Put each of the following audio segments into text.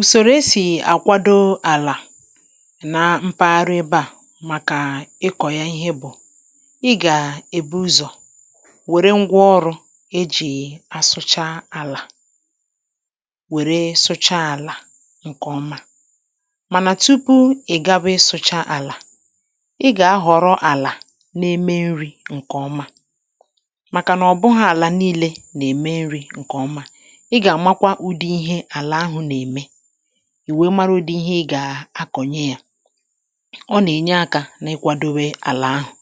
Usòrò esì àkwado àlà na mpaghara ebe à màkà ịkọ̀ ya ihe bụ̀; ị gà èbu ụzọ̀ wère ngwa ọrụ̇ ejì asụcha àlà wère sụcha àlà ǹkèọma. Mànà tupu ị̀ gaba ịsụcha àlá, ị ga-ahọrọ àlà na-eme nri̇ ǹkèọma; màkà nà ọ bụghị ala nị̀ị̀le na-eme nri nke ọma. Ị ga-amakwà ụdị ihe àlà ahụ na-eme, ì wee marụ udị ihe ị gà-akọ̀nye yà. Ọ nà-ènye akȧ n’ịkwadȯwė àlà ahụ̀;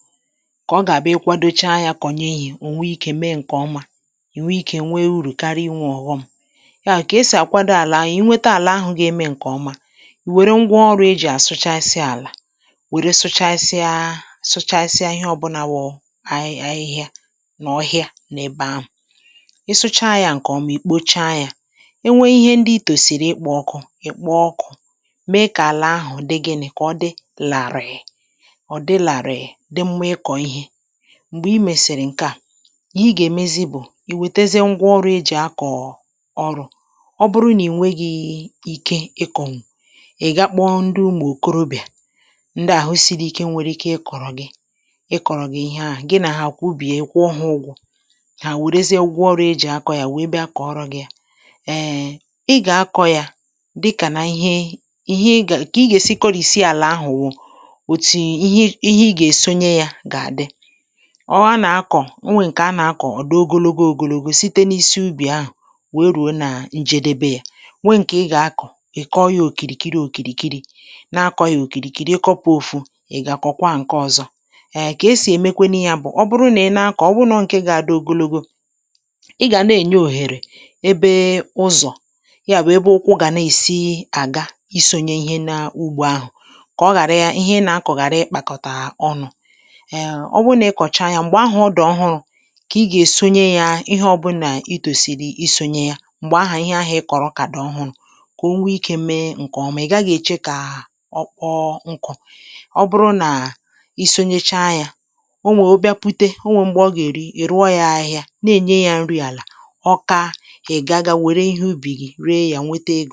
kà ọ gà-àbụ ị kwadocha yȧ kọ̀nye ihe ò nwee ikė mee ǹkè ọma, ị nwee ikė nwee urù karịa inwė ọ̀ghọm. Yà wụ kè esì àkwado àlà ahụ̀;ì nwete àlà ahụ̀ gà-ème ǹkè ọma, ì wère ngwa ọrụ̇ ejì àsụchasịa àlà wère sụchasịa sụchasịa ihe ọbụnȧ wụ ahị ahịhịa n’ọhịa n’ebe ahụ̀. Ị sụchà ya ǹkè ọmà ì kpocha yȧ, enwe ihe ndi i tòsìrì ịkpọ ọkụ̇ ị̀kpọ ọkụ̇, mee kà àlà ahụ̀ dị gị nị; kà ọ dị làrị̀ị̀, ọ dị làrị̀ị̀ dị mmà ịkọ̀ ihe. Mgbè i mèsị̀rị̀ ǹke à, ihe ị gà-èmezi bụ̀ i wètezie ngwa ọrụ̇ e jị akọ̀ọ̀ ọrụ; ọ bụrụ nà ì nwe gị̇ ike ịkọ̀nwu, ị̀ ga kpọọ ndị umụ̀ okorobìà ndị àhụ siri ike nwere ike ịkọ̀rọ̀ gị ịkọ̀rọ̀ gị ihe ahụ̀; gị nà ha kwụbìe ị kwuọ hà ụgwọ̇. Hà wèrezie ngwa ọrụ e jị akọ yȧ wèe bịa kọọrọ̇ gị̇ yà. um Ị gà-akọ̇ yȧ dịkà nà ihe ihe ị ga ka ì ga -èsi kọrìsie àlà ahụ̀ wụ"; òtu ihe ihe ị gà-èsonye yȧ gà-àdị. Ọ ha nà-akọ̀ o nwè ǹkè a nà-akọ̀ ọ̀ dị ogologo ogologo site n’isi ubì ahụ̀ wèe rùo nà njedebe yȧ, nwè ǹkè ị gà-akọ̀ ị̀ kọọ yȧ òkìrìkiri òkìrìkiri na-akọ̇ yȧ òkìrìkiri ịkọ̇pụ̇ òfu ị̀ gà-akọ̀kwa ǹkè ọ̀zọ.[um] Kà esì èmekwe nu yà bụ̀; ọ bụrụ nà ị na-akọ̀ ọ wụ nọ ǹkè ga-adị ogologo, ị gà na-ènye òhèrè ebe ụzọ̀. Yà bụ ébé ụkwụ ga na-esi ágà ịsònye ihe na ugbȯ ahụ̀, kà ọ ghàra ihe ị nà-akọ̀ ghàra ịkpàkọ̀tà ọnụ̇. um Ọ wụrụ nà ị kọ̀cha yȧ m̀gbè ahụ̀ ọ dị̀ ọhụrụ̇, kà ị gà-èsonye ya ihe ọbụ̇nà itòsìrì isònyè yà. Mgbè ahụ̀ ihe ahụ̀ ị kọ̀rọ̀ kà dị ọhụrụ, kà o nwee ikė mee ǹkèọma ị̀ gaghị̇ èche kà ọ kpọọ nkụ. Ọ bụrụ nà ị sonyecha yȧ, o nwè ọ bịa pute onwe m̀gbè ọ gà-èrụ, ị rụọ ya ahịhịa na-ènye yȧ ǹri àlà. Ọ káà, ị gá gá were ihe ubì gị̀ réé ya nweté egó.